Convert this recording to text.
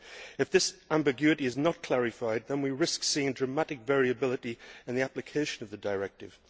If this ambiguity is not clarified, then we risk seeing dramatic variability in the application of the directive.